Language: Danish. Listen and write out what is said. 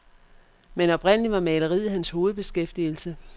Men oprindelig var maleriet hans hovedbeskæftigelse.